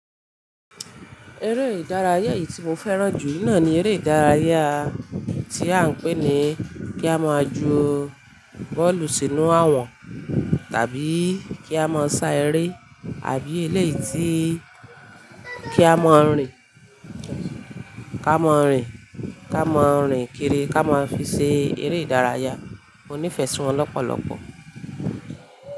Eré ìdárayá èyí tí mo fẹ́ràn jù ní náà ni eré ìdárayá tí a ń pè ní kí a máa ju bọ́ọ̀lù sínú àwọ̀n, tàbí kí a máa sá eré àbí eléyìí tí, kí a máa rìn, ká máa rìn, ká máa rìn kiri ká máa fi ṣe eré ìdárayá. Mo nífẹ̀ẹ́ sí wọn lọ́pọ̀lọ́pọ̀.